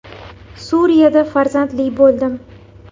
Suriyada farzandli bo‘ldim.